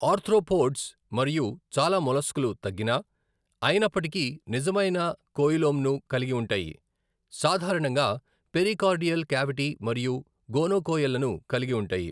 Arthropods మరియు చాలా మొలస్క్లు తగ్గిన, అయినప్పటికీ నిజమైన కోయిలోమ్ను కలిగి ఉంటాయి, సాధారణంగా పెరికార్డియల్ కేవిటీ మరియు గోనోకోయెల్లను కలిగి ఉంటాయి.